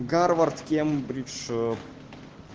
гарвард кембридж